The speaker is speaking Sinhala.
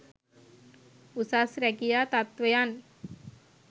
උසස් රැකියා තත්ත්වයන්